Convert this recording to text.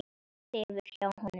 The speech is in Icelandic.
Sefur hjá honum.